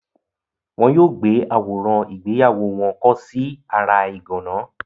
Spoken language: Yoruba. Wọn yóò gbé àwòrán ìgbéyàwó wọn kọ́ sí ara ìgànná.